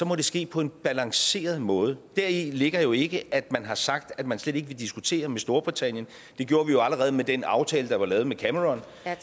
må det ske på en balanceret måde deri ligger jo ikke at man har sagt at man slet ikke vil diskutere med storbritannien det gjorde vi jo allerede med den aftale der blev lavet med cameron